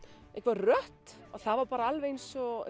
rödd og það var bara alveg eins og